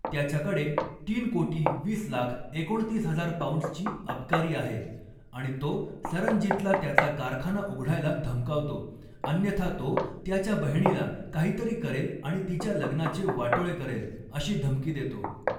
त्याच्याकडे तीन कोटी वीस लाख एकोणतीस हजार पौंड्सची अबकारी आहे आणि तो सरनजीतला त्याचा कारखाना उघडायला धमकावतो, अन्यथा तो त्याच्या बहिणीला काहीतरी करेल आणि तिच्या लग्नाचे वाटोळे करेल अशी धमकी देतो.